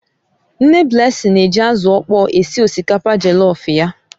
Nne Blessing na-eji azụ ọkpọr esi osikapa jellof ya.